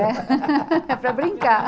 É. É para brincar.